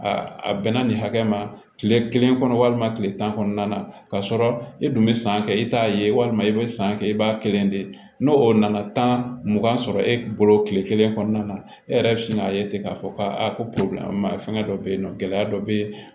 A a bɛnna nin hakɛ ma kile kelen kɔnɔ walima kile tan kɔnɔna na k'a sɔrɔ e dun be san kɛ i t'a ye walima i be san kɛ i b'a kelen de ye n'o o nana tan mugan sɔrɔ e bolo kile kelen kɔnɔna na e yɛrɛ bi sin k'a ye ten k'a fɔ ko aa ko fɛngɛ dɔ be yen nɔ gɛlɛya dɔ be yen